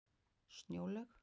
Snjólaug